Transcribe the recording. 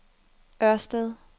Ørsted